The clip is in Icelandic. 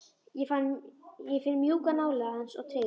Ég finn mjúka nálægð hans og tryggð.